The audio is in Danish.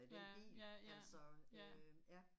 Ja ja, ja, ja, ja